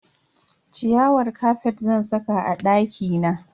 Ciyawar kafet zan saka a dakina.